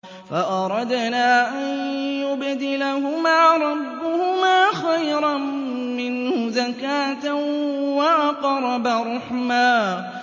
فَأَرَدْنَا أَن يُبْدِلَهُمَا رَبُّهُمَا خَيْرًا مِّنْهُ زَكَاةً وَأَقْرَبَ رُحْمًا